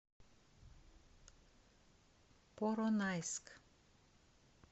поронайск